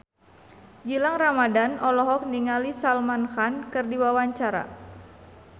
Gilang Ramadan olohok ningali Salman Khan keur diwawancara